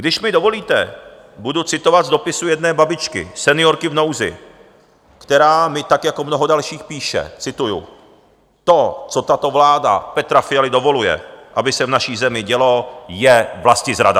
Když mi dovolíte, budu citovat z dopisu jedné babičky, seniorky v nouzi, která mi tak jako mnoho dalších píše, cituji: "To, co tato vláda Petra Fialy dovoluje, aby se v naší zemi dělo, je vlastizrada!"